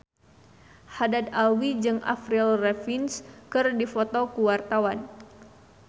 Haddad Alwi jeung Avril Lavigne keur dipoto ku wartawan